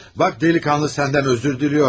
Bax, dəliqanlı səndən özür diləyor işte.